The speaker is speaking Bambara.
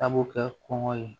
Tabu kɛ kɔngɔ ye